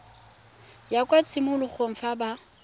ya kwa tshimologong fa ba